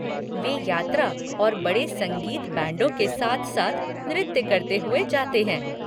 वे यात्रा और बड़े संगीत बैंडों के साथ साथ नृत्य करते हुए जाते हैं।